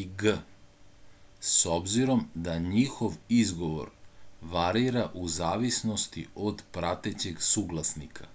i g s obzirom da njihov izgovor varira u zavisnosti od pratećeg suglasnika